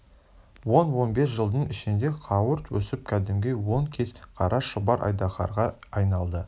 он-он бес жылдың ішінде қауырт өсіп кәдімгі он кез қара шұбар айдаһарға айналды